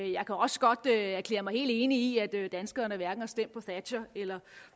jeg kan også godt erklære mig helt enig i at danskerne hverken har stemt på thatcher eller